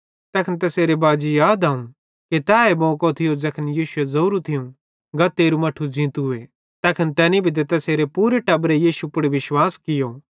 तैखन तैसेरे बाजी याद अवं कि तैए मौको थियो ज़ैखन यीशुए ज़ोरू थियूं गा तेरू मट्ठू ज़ींतूए तैखन तैनी भी ते तैसेरे पूरे टब्बरे यीशु पुड़ विश्वास कियो